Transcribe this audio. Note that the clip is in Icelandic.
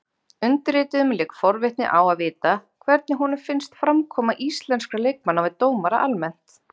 Undirrituðum lék forvitni á að vita hvernig honum finnst framkoma íslenskra leikmanna við dómara almennt?